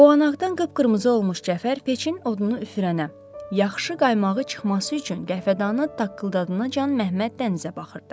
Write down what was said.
Boğanaqdan qıpqırmızı olmuş Cəfər peçin odunu üfürənə, yaxşı qaymağı çıxması üçün qəhvədanı taqqıldadana can Məhəmməd dənizə baxırdı.